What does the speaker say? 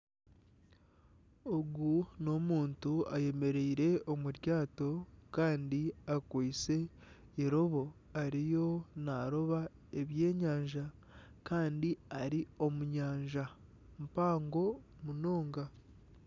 Ogu n'omuntu ayemereire omu ryaato Kandi akwaitse eirobo ariyo naroba ebyenyanja Kandi ari omu nyanja mpango munonga.